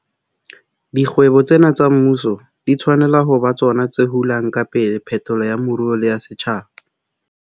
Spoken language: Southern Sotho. Dikgwebo tsena tsa mmuso di tshwanela ho ba tsona tse hulang ka pele phetolo ya moruo le ya setjhaba.